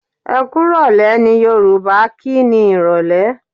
Ẹkúrọ̀lẹ́! ni Yorùbá kí ni Ìrọ̀lẹ́.